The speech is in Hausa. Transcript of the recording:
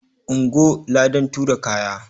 Ungo! ladan tura kaya.